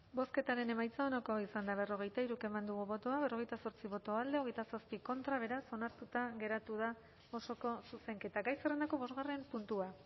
bozketaren emaitza onako izan da berrogeita hiru eman dugu bozka berrogeita zortzi boto alde veintisiete contra beraz onartuta geratu da osoko zuzenketa gai zerrendako bosgarren puntua